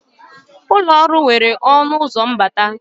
Ụlọ ọrụ nwere ọnụ ụzọ mbata